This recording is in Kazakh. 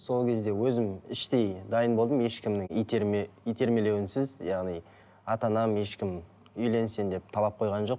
сол кезде өзім іштей дайын болдым ешкімнің итермелеуінсіз яғни ата анам ешкім үйлен сен деп талап қойған жоқ